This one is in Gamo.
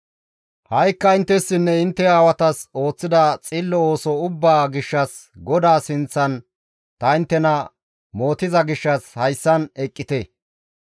Ha7ikka inttessinne intte aawatas ooththida xillo ooso ubbaa gishshas GODAA sinththan ta inttena mootiza gishshas hayssan eqqite.